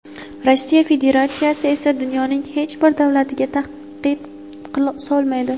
Rossiya Federatsiyasi esa dunyoning hech bir davlatiga tahdid solmaydi.